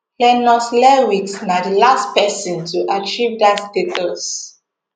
lennox lewis na di last pesin to achieve dat status